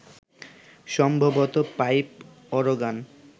সম্ভবত pipe organ